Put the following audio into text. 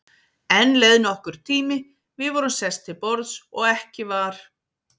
Enn leið nokkur tími, við vorum sest til borðs og ekki var